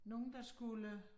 Nogen der skulle